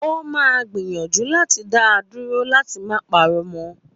Ó máa gbìyànjú láti da dúró láti má parọ́ mọ́